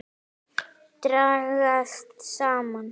Dragast saman.